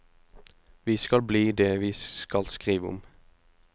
Vi skal bli det vi skal skrive om.